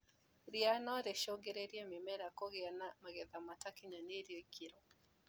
Ria norĩcungĩrĩrie mĩmera kũgĩa na magetha matakinyanĩirie ikĩro.